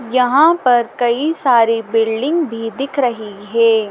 यहां पर कई सारी बिल्डिंग भी दिख रही हे ।